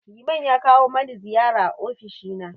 Liman ya kawo mani ziyara a ofishi na.